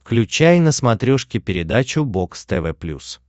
включай на смотрешке передачу бокс тв плюс